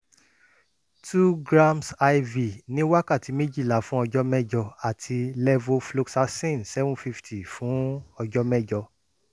two grams iv ní wákàtí méjìlá fún ọjọ́ mẹ́jọ àti levofloxacin seven fifty fún ọjọ́ mẹ́jọ